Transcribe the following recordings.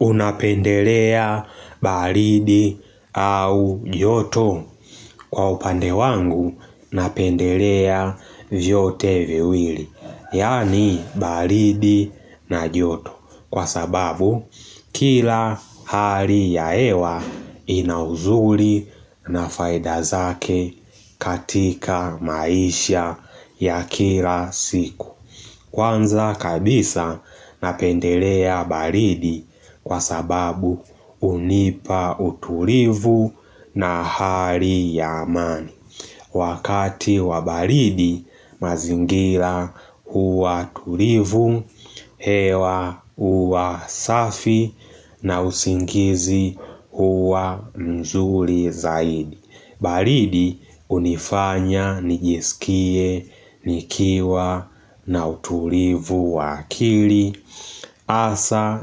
Unapendelea baridi au joto kwa upande wangu napendelea vyote viwili, yani baridi na joto, kwa sababu kila hali yahewa inauzuri na faida zake katika maisha ya kila siku. Kwanza kabisa napendelea baridi kwa sababu unipa uturivu na hari ya amani. Wakati wa baridi mazingira huwa tulivu, hewa huwa safi na usingizi huwa mzuri zaidi. Baridi hunifanya nijiskie nikiwa na utulivu wa akili Hasa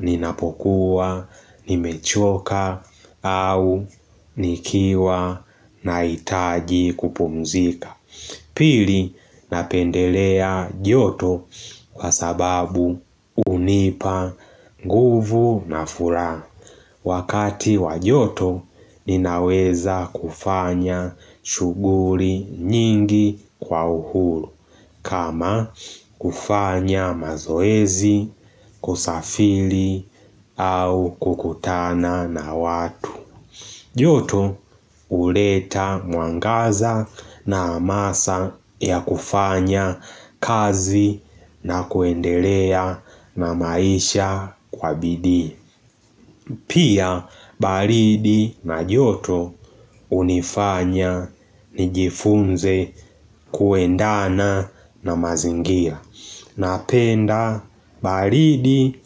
ninapokuwa nimechoka au nikiwa na hitaji kupumzika Pili napendelea joto kwa sababu hunipa nguvu na furaha Wakati wajoto ninaweza kufanya shuguli nyingi kwa uhuru, kama kufanya mazoezi, kusafili, au kukutana na watu. Joto huleta mwangaza na amasa ya kufanya kazi na kuendelea na maisha kwa bidii. Pia baridi na joto hunifanya nijifunze kuendana na mazingia. Napenda baridi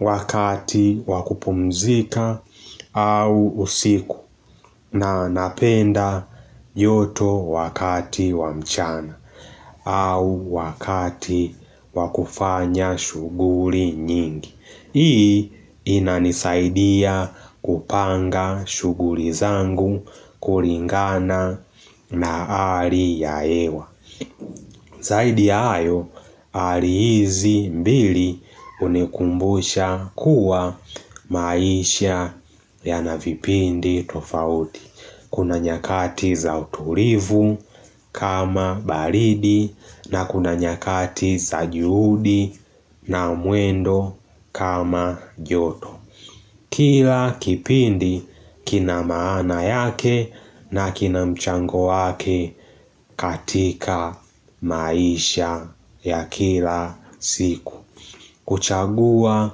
wakati wakupumzika au usiku. Na napenda joto wakati wamchana au wakati wakufanya shughuli nyingi. Hii inanisaidia kupanga shughuli zangu kulingana na halii ya hewa Zaidi ayo hali hizi mbili hunikumbusha kuwa maisha yanavipindi tofauti Kuna nyakati za utulivu kama baridi na kuna nyakati za juhudi na mwendo kama joto. Kila kipindi kina maana yake na kina mchango wake katika maisha ya kila siku. Kuchagua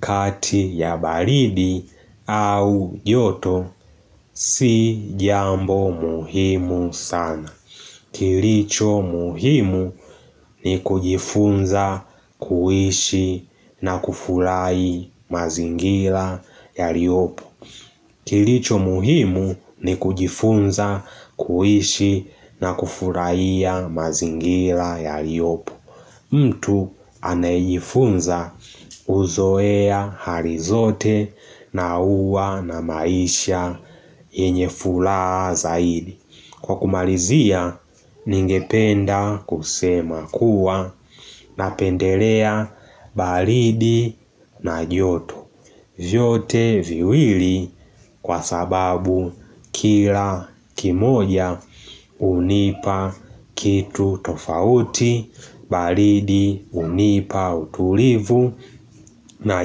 kati ya baridi au joto si jambo muhimu sana. Kilicho muhimu ni kujifunza kuishi na kufurahi mazingila yaliyopo. Kilicho muhimu ni kujifunza kuhishi na kufurahia mazingira ya liyopo. Mtu anajifunza huzoea hali zote na uwa na maisha yenyefula zaidi Kwa kumalizia ningependa kusema kuwa napendelea baridi na joto vyote viwili kwa sababu kila kimoja hunipa kitu tofauti, baridi hunipa utulivu na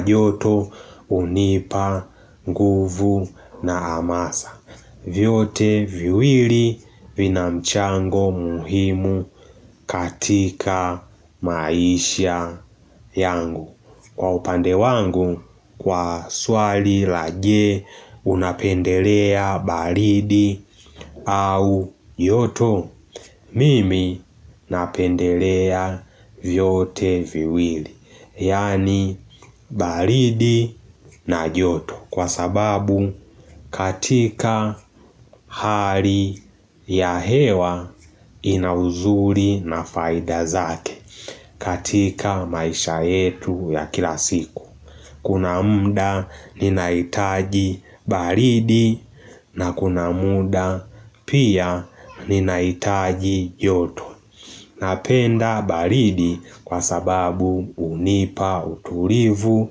joto hunipa nguvu na amasa. Vyote viwili vina mchango muhimu katika maisha yangu. Kwa upande wangu, kwa swali la je unapendelea baridi au joto, mimi napendelea vyote viwili, yani baridi na joto. Kwa sababu katika hali ya hewa inauzuri na faida zake katika maisha yetu ya kila siku Kuna mda ninaitaji baridi na kuna muda pia ninaitaji joto Napenda baridi kwa sababu hunipa utulivu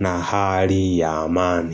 na hali ya amani.